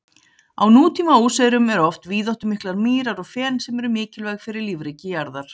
Á nútíma óseyrum eru oft víðáttumiklar mýrar og fen, sem eru mikilvæg fyrir lífríki jarðar.